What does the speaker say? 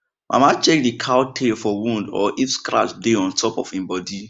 mama check the cow tail for wound or if scratch dey on top of en body